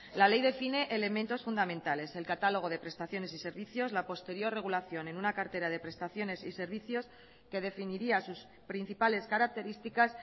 la ley define elementos fundamentales el catálogo de prestaciones y servicios la posterior regulación en una cartera de prestaciones y servicios que definiría sus principales características